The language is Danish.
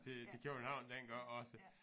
Til til København dengang også